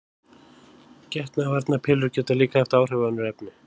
Getnaðarvarnarpillur geta líka haft áhrif á önnur efni.